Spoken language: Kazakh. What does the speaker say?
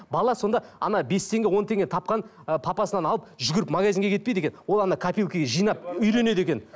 бала сонда бес теңге он теңге тапқан ы папасынан алып жүгіріп магазинге кетпейді екен ол копилкіге жинап үйренеді екен